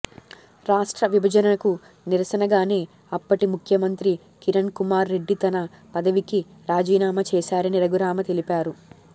రాష్ట్ర విభజనకు నిరసనగానే అప్పటి ముఖ్యమంత్రి కిరణ్కుమార్ రెడ్డి తన పదవికి రాజీనామా చేశారని రఘురామ తెలిపారు